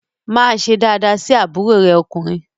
Máa ṣe daadaa sí àbúrò rẹ ọkùnrin!